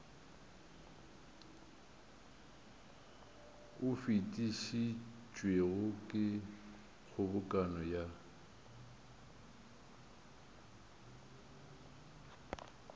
o fetišitšwego ke kgobokano ya